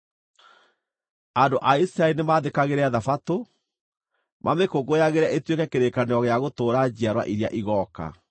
andũ a Isiraeli nĩmathĩkagĩre Thabatũ, mamĩkũngũyagĩre ĩtuĩke kĩrĩkanĩro gĩa gũtũũra njiarwa iria igooka.